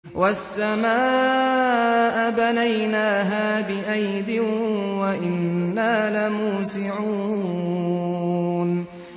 وَالسَّمَاءَ بَنَيْنَاهَا بِأَيْدٍ وَإِنَّا لَمُوسِعُونَ